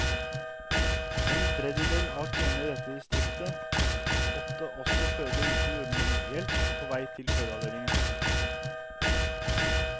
En tredjedel av kvinnene i dette distriktet måtte også føde uten jordmorhjelp på vei til fødeavdelingen.